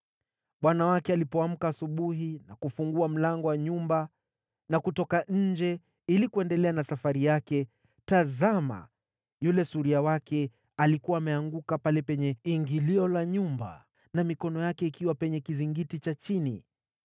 Bwana wake alipoamka asubuhi na kufungua mlango wa nyumba na kutoka nje ili kuendelea na safari yake, tazama, yule suria wake alikuwa ameanguka pale penye ingilio la nyumba na mikono yake ikiwa penye kizingiti cha chini.